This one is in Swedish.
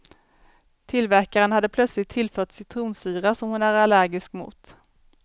Tillverkaren hade plötsligt tillfört citronsyra, som hon är allergisk mot.